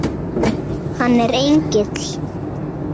Hann er engill.